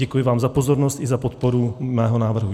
Děkuji vám za pozornost i za podporu mého návrhu.